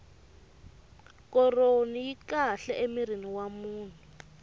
koroni yi kahle emirini wa munhu